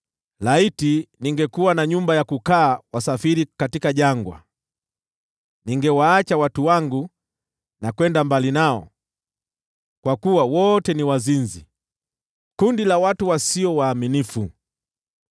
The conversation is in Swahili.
Laiti ningekuwa na nyumba ya kukaa wasafiri jangwani, ningewaacha watu wangu na kwenda mbali nao, kwa kuwa wote ni wazinzi, kundi la watu wadanganyifu.